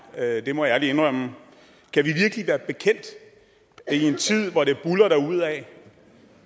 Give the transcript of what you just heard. jeg det må jeg ærligt indrømme kan vi virkelig være bekendt i en tid hvor det buldrer derudad